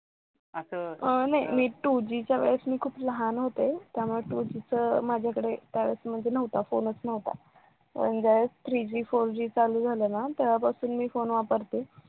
अह नाय मी two G च्या वेळेस खूप लहान होते त्यामुळे two G च त्यावेळेस म्हणजे नव्हता म्हणजे फोनच नव्हता पण ज्यावेळेस three Gfour G चालू झालं ना तेव्हा पासून मी फोन वापरते.